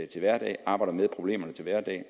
til hverdag arbejder med problemerne til hverdag og